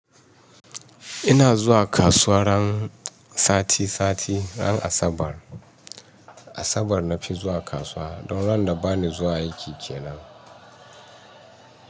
Ina zuwa kasuwa ran sati sati, ran Asabar. Asabar na fi zuwa kasuwa. Don ran da ba ni zuwa aiki kenan.